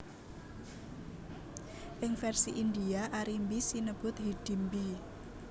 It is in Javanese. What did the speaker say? Ing vèrsi India Arimbi sinebut Hidimbi